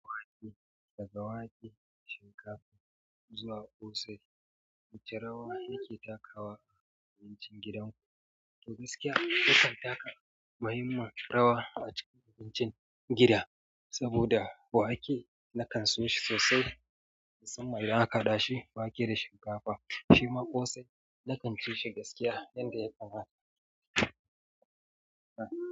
Wake, daga wake, shinkafa zuwa ƙosai, wacce rawa yake takawa a abincin gidan ku? To gaskiya yakan taka muhimmin rawa a cikin abincin gida. Saboda wake na kan so shi sosai, musamman idan aka haɗa shi wake da shinkafa. Shima ƙosai na kan ci shi gaskiya yanda ya kamata.